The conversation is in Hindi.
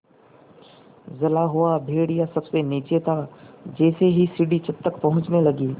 जला हुआ भेड़िया सबसे नीचे था जैसे ही सीढ़ी छत तक पहुँचने लगी